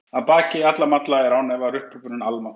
Að baki alla malla er án efa upphrópunin almáttugur.